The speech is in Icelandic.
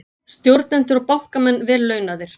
Stjórnendur og bankamenn vel launaðir